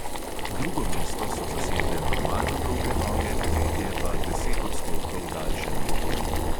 Drugo mesto so zasedle normalno dolge noge, tretje pa deset odstotkov daljše noge.